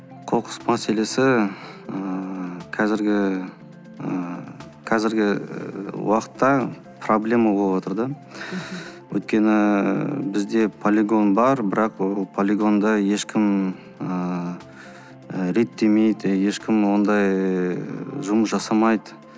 қоқыс мәселесі ыыы қазіргі ыыы қазіргі уақытта проблема болыватыр да өйткені бізде полигон бар бірақ ол полигонды ешкім ыыы реттемейді ешкім ондай ыыы жұмыс жасамайды